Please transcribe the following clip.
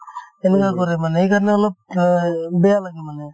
তেনেকুৱা কৰে মানে সেইকাৰণে অলপ বেয়া লাগে মানে